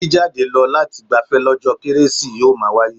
Jíjade lọ lati gbafẹ́ lọ́jọ́ kérésì yóò máa wáyé.